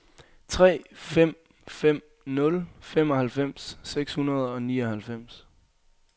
tre fem fem nul femoghalvfems seks hundrede og nioghalvfems